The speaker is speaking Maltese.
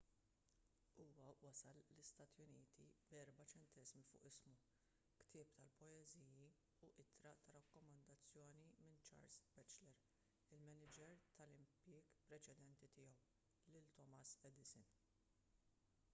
huwa wasal l-istati uniti b’4 ċenteżmi fuq ismu ktieb tal-poeżiji u ittra ta’ rakkomandazzjoni minn charles batchelor il-maniġer tal-impjieg preċedenti tiegħu lil thomas edison